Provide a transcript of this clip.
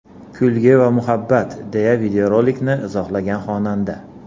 Kulgi va muhabbat”, deya videorolikni izohlagan xonanda.